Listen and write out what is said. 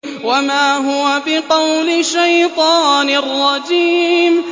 وَمَا هُوَ بِقَوْلِ شَيْطَانٍ رَّجِيمٍ